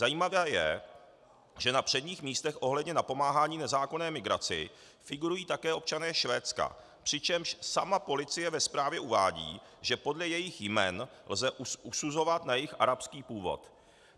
Zajímavé je, že na předních místech ohledně napomáhání nezákonné migraci figurují také občané Švédska, přičemž sama policie ve zprávě uvádí, že podle jejich jmen lze usuzovat na jejich arabský původ.